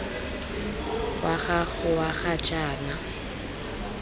wa gago wa ga jaana